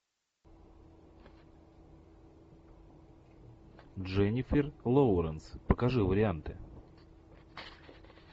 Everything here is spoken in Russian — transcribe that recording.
дженнифер лоуренс покажи варианты